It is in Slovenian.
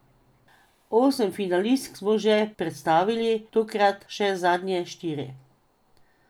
Osem finalistk smo že predstavili, tokrat še zadnje štiri.